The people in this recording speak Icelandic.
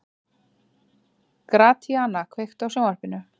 Gratíana, kveiktu á sjónvarpinu.